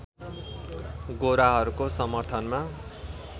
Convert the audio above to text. गोराहरूको समर्थनमा